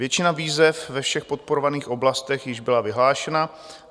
Většina výzev ve všech podporovaných oblastech již byla vyhlášena.